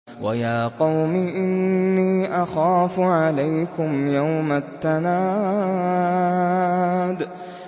وَيَا قَوْمِ إِنِّي أَخَافُ عَلَيْكُمْ يَوْمَ التَّنَادِ